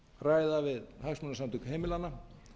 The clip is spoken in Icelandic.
ræða við hagsmunasamtök heimilanna